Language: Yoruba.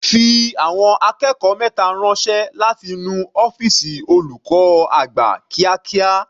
Fi àwọn akẹ́kọ̀ọ́ mẹta ránṣẹ́ láti nu ọ́fìsì olùkọ́ àgbà kíákíá.